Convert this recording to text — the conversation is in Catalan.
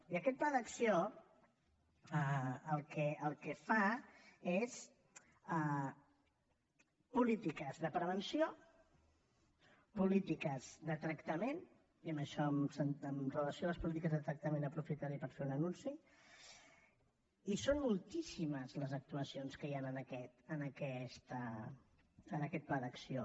i aquest pla d’acció el que fa són polítiques de prevenció polítiques de tractament i en això amb relació a les polítiques de tractament aprofitaré per fer un anunci i són moltíssimes les actuacions que hi han en aquest pla d’acció